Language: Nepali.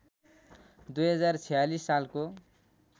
२०४६ सालको